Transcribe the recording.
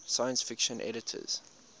science fiction editors